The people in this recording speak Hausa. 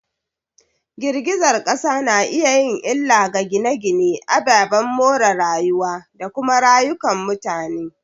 Girgizar kasa na iya yin illa ga gine-gine, ababen more rayuwa, da kuma rayukan mutane.